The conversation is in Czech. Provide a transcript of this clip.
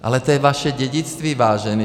Ale to je vaše dědictví, vážení.